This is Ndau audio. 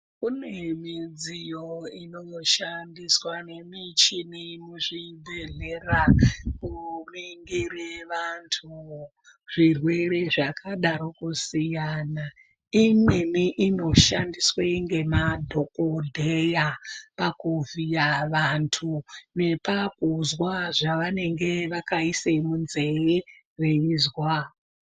Kune midziyo inoshandiswa nemichini muzvibhedhlera kuringire vantu, zvirwere zvakadaro kusiyana. Imweni inoshandiswe ngemadhokodheya pakuvhiya vantu nepakuzwa zvavanenge vakaise munzee veizwa.